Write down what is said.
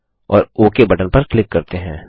और okay button पर click करते हैं